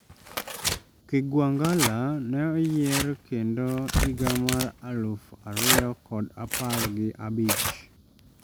Kigwangalla ne oyier kendo higa mar aluf ariyo kod apar gi abich